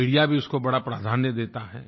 media भी उसको बड़ा प्राधान्य देता है